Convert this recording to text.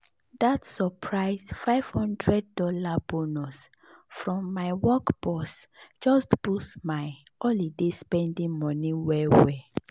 that surprise five hundred dollars bonus from my work boss just boost my holiday spending money well well.